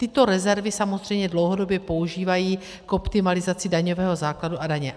Tyto rezervy samozřejmě dlouhodobě používají k optimalizaci daňového základu a daně.